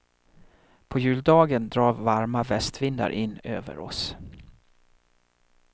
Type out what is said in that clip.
På juldagen drar varma västvindar in över oss.